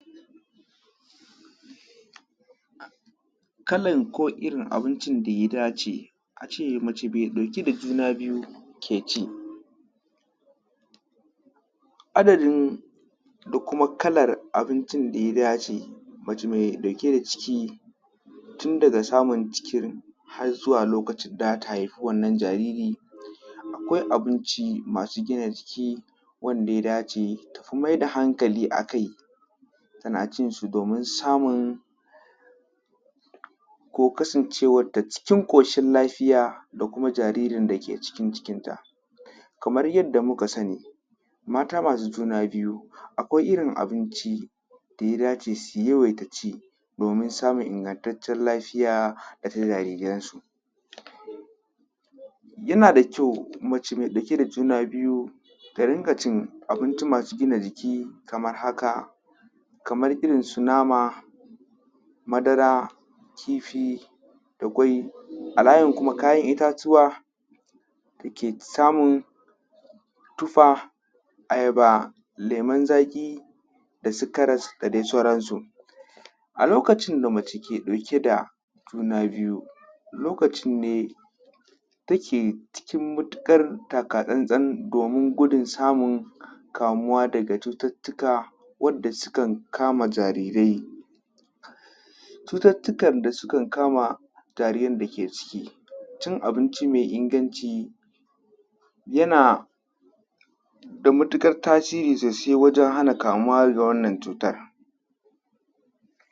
Kalan, ko irin abincin da ya dace, a ce mace mai ɗauke da juna biyu, ke ci. Adadin, da kuma kalar abincin da ya dace mace mai ɗauke da ciki, tun daga samun cikin, har zuwa lokacin da za ta haifi wannan jariri. Akwai abinci masu gina jiki wanda ya dace ta fi mai da hankali a kai, tana cin su domin samun, ko kasancewarta cikin ƙoshin lafiya, da kuma jaririn da ke cikin cikinta. Kamar yadda muka sani, mata masu juna biyu, akwai irin abinci, da ya dace su yawaita ci domin samun ingantaccen lafiya da ta jariransu. Yana da kyau, mace mai ɗauke da juna biyu, ta rinƙa cin abinci masu gina jiki kamar haka: kamar irin su nama, madara, kifi, da ƙwai. A layin kuma kayan itatuwa, kuke samun tufa, ayaba, lemon zaƙi da su karas da dai sauransu. A lokacin da mace ke ɗauke da juna biyu, lokacin ne take cikin matuƙar taka-tsantsan, domin gudun samun kamuwa daga cututtuka wadda sukan kama jarirai. Cututtukan da sukan kama jaririn da ke ciki. Cin abinci mai inganci, yana da matuƙar tasiri sosai wajen hana kamuwa ga wannan cutar.